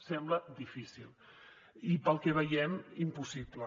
sembla difícil i pel que veiem impossible